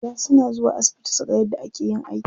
Za suna zuwa asibiti suga yadda ake yin aiki.